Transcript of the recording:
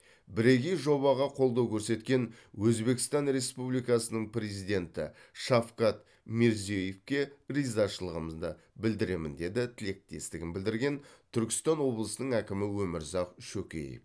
бірегей жобаға қолдау көрсеткен өзбекстан республикасының президенті шавкат мирзиеевке ризашылығымды білдіремін деді тілектестігін білдірген түркістан облысының әкімі өмірзақ шөкеев